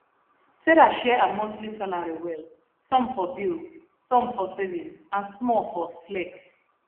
sarah share her monthly salary well some for bills some for savings and small for flex